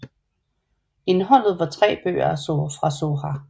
Indholdet var tre bøger fra Zohar